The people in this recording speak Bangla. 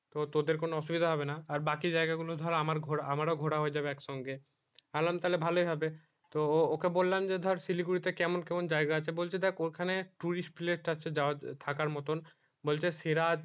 তো তোদের কোনো অসুবিধা হবে না আর বাকি জায়গা গুলো ধর আমার ঘোরা আমারও ঘোরা হয়ে যাবে এক সঙ্গে আমি বললাম তালে ভালোই হবে তো ওকে বললাম যে ধর শিলিগুড়ি তে কেমন কেমন জায়গা আছে বলছে যে দেখ ওখানে tourist place আছে যাওয়ার থাকার মতো বলছে সিরাজ